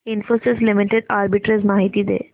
Infosys limited arbitrage माहिती दे